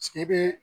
e bɛ